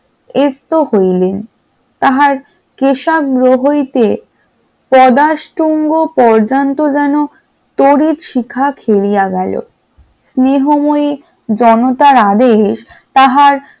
এই তো হইলেন তাহার কেশাগ্র হইতে পদা স্তম্ভ পর্যন্ত যেন তড়িৎ শিকার হইয়া গেল স্নেহময়ী জনতার আদেশ তাহার